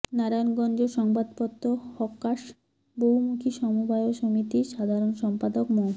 নারায়ণগঞ্জ সংবাদপত্র হকার্স বহুমুখী সমবায় সমিতির সাধারণ সম্পাদক মো